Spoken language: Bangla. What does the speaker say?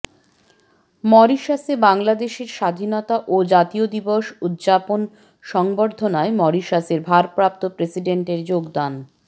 মরিশাসে বাংলাদেশের স্বাধীনতা ও জাতীয় দিবস উদযাপন সংবর্ধনায় মরিশাসের ভারপ্রাপ্ত প্রেসিডেন্টের যোগদান